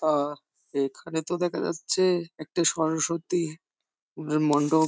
আ এখানে তো দেখা যাচ্ছে একটি সরস্বতী স্কুল এর মন্ডব।